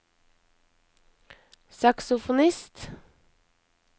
saksofonist